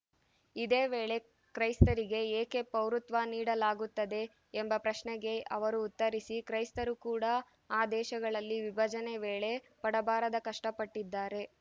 ಇದೇ ವೇಳೆ ಕ್ರೈಸ್ತರಿಗೆ ಏಕೆ ಪೌರತ್ವ ನೀಡಲಾಗುತ್ತದೆ ಎಂಬ ಪ್ರಶ್ನೆಗೆ ಅವರು ಉತ್ತರಿಸಿ ಕ್ರೈಸ್ತರು ಕೂಡ ಆ ದೇಶಗಳಲ್ಲಿ ವಿಭಜನೆ ವೇಳೆ ಪಡಬಾರದ ಕಷ್ಟಪಟ್ಟಿದ್ದಾರೆ